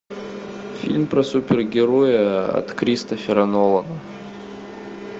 фильм про супергероя от кристофера нолана